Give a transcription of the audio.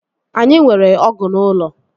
Anyị nwere ọgụ n'ụlọ